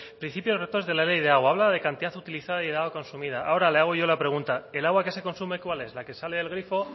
lópez de ocariz principios rectores de la ley de agua habla de la cantidad utilizada y de agua consumida ahora le hago yo la pregunta el agua que se consume cuál es la que sale del grifo